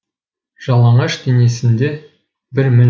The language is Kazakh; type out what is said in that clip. жалаңаш денесінде бір мін